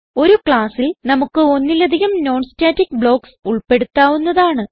ഒരു ക്ലാസ്സിൽ നമുക്ക് ഒന്നിലധികം non സ്റ്റാറ്റിക് ബ്ലോക്ക്സ് ഉൾപ്പെടുത്താവുന്നതാണ്